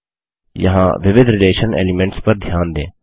यहाँ विविध relation elements पर ध्यान दें